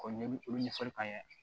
K'o ɲɛ olu ɲɛfɔli k'an ye